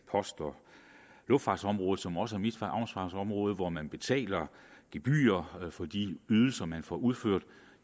post og luftfartsområdet som også er mit ansvarsområde hvor man betaler gebyrer for de ydelser man får udført